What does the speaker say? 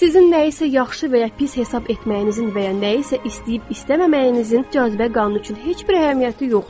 Sizin nəyisə yaxşı və ya pis hiss etməyinizin və ya nəyisə istəyib-istəməməyinizin cazibə qanunu üçün heç bir əhəmiyyəti yoxdur.